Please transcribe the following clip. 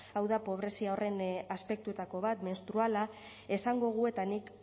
hau da pobrezia horren aspektuetako bat menstruala esangogu eta nik